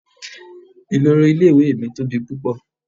Ìloro ilé ìwé mi tóbi púpọ̀.